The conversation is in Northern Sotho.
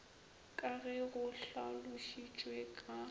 ka ge go hlalošitšwe ka